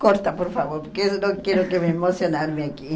Corta, por favor, porque eu não quero que me emocionar-me aqui.